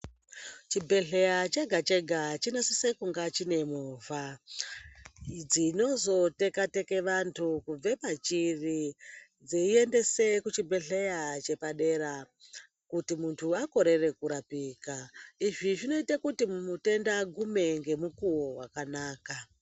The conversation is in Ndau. Chibhedhleya chega-chega chinosise kungaa chine movha, dzinozoteka teke vantu kubve pachiri, dzeiendese kuchibhedhleya chepadera, kuti muntu akorere kurapika. Izvi zvinoite kuti mutenda agume ngemukuwo wakanaka.